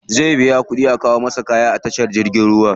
Zai biya kuɗi a kawo masa kayan da ya siya ta jirgin ruwa.